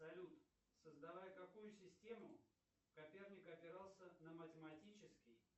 салют создавая какую систему коперник опирался на математический